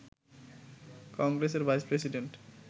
কংগ্রেসের vice president